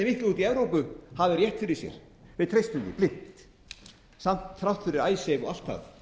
úti í evrópu hafi rétt fyrir sér við treystum því blint þrátt fyrir icesave og allt það